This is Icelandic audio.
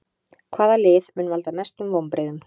Hvaða lið mun valda mestum vonbrigðum?